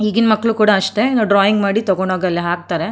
ಈಗಿನ ಮಕ್ಕಳು ಕೂಡ ಅಷ್ಟೇ ಡ್ರಾಯಿಂಗ್ ಮಾಡಿ ತಗೊಂಡು ಹೋಗಿ ಅಲ್ಲಿ ಹಾಕ್ತಾರೆ.